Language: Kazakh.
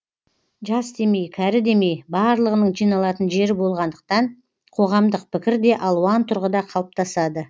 жас демей кәрі демей барлығының жиналатын жері болғандықтан қоғамдық пікір де алуан тұрғыда қалыптасады